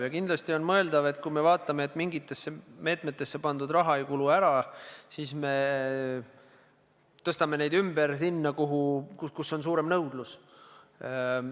Ja kindlasti on mõeldav, et kui me näeme, et mingitesse meetmetesse pandud raha ei kulu ära, siis me tõstame selle ümber sinna, kus on suurem nõudlus.